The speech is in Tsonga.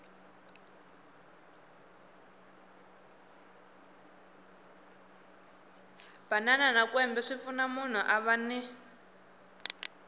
banana na kwembe swipfuna kuri munhu a vana